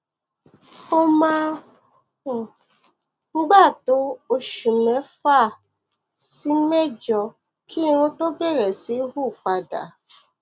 ó máa ń gbà tó oṣù mẹfà sí mẹjọ kí irun tó bẹrẹ sí hù padà